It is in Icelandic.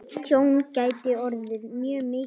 Tjón gæti orðið mjög mikið.